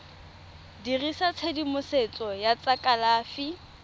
dirisa tshedimosetso ya tsa kalafi